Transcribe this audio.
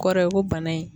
Kɔrɔ ye ko bana in